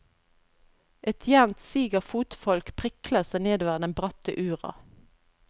Et jevnt sig av fotfolk prikler seg nedover den bratte ura.